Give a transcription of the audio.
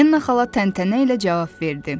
Enna xala təntənə ilə cavab verdi.